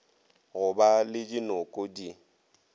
go ba le dinoko di